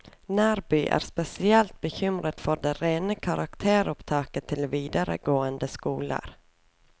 Nærby er spesielt bekymret for det rene karakteropptaket til videregående skoler.